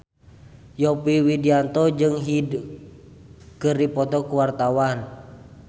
Yovie Widianto jeung Hyde keur dipoto ku wartawan